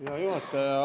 Hea juhataja!